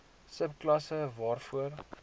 sub klasse waarvoor